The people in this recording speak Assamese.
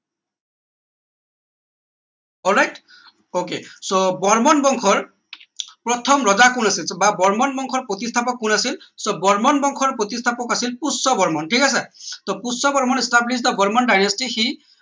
all right ok so Varman বংশৰ প্ৰথম ৰজা কোন আছিল বৰ্মন বংশৰ প্ৰতিস্থাপক কোন আছিল so বৰ্মন বংশৰ প্ৰতিস্থাপক আছিল পুষ্য বৰ্মন ঠিক আছে টৌ Pushya Varman establish the varman dynasty he